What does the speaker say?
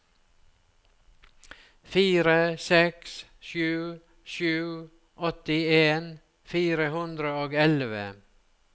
fire seks sju sju åttien fire hundre og elleve